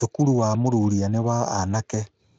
Thukuru wa Mururia nĩ wa anake.